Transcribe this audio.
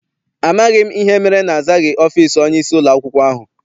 Amaghị m ihe mere na-azaghị ọfịịsi onyeisi ụlọakwụkwọ ahụ.